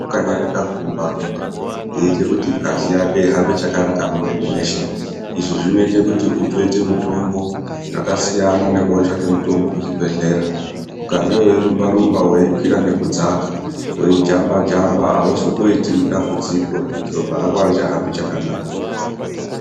Kukanyarika kurumba rumba aitei kuti ngazi yako ihambe chakanaka mumwiri mweshe izvi zvinotoite kuti unoite mitombo yakasiyana nekotsvake mutombo kuchibhehlera ukange weirumba rumba nekukwira nekudzaka weijamba jamba aiuzomboiti dambudziko rekuti ropa rako arichahambi chakanaka.